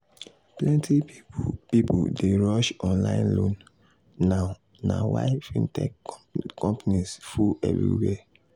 plenty people dey rush online loan now na why fintech companies full everywhere.